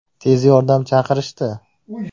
Tez yordam chaqirishdi.